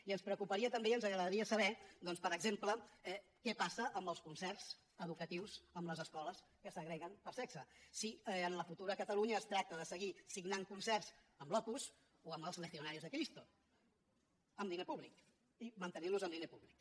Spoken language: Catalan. i ens preocuparia també i ens agradaria saber doncs per exemple què passa amb els concerts educatius amb les escoles que segreguen per sexe si en la futura catalunya es tracta de seguir signant concerts amb l’opus o amb els legionarios de cristo amb diner públic i mantenirlos amb diner públic